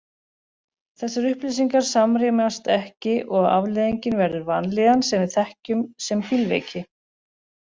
Þessar upplýsingar samrýmast ekki og afleiðingin verður vanlíðan sem við þekkjum sem bílveiki.